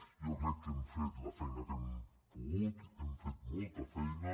jo crec que hem fet la feina que hem pogut i que hem fet molta feina